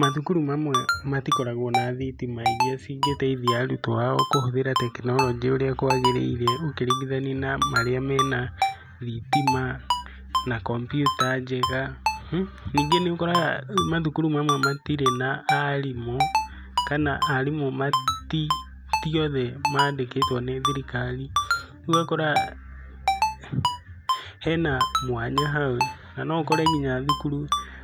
Mathukuru mamwe matikoragwo na thitima iria cingĩteithia arutwo ao kũhũthira tekinoronjĩ ũrĩa kwagĩrĩire ũkĩringithania na marĩa mena thitima na kompiuta njega. Ningĩ nĩ ũkoraga mathukuru mamwe matirĩ na arimũ, kana arimũ ti othe mandĩkĩtwo nĩ thirikari. Ũguo ũgakora hena mwanya hau na no ũkore nginya thukuru,